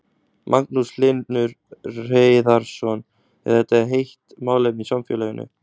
Magnús Hlynur Hreiðarsson: Er þetta heitt málefni í samfélaginu?